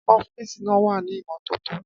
Ọ́fíìsì náà wà ní ìmọ́tótó.